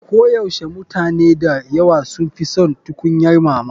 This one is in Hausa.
Koyaushe mutane da yawa sun fi son tukunyar mama.